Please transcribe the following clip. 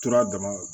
Tora dɔrɔn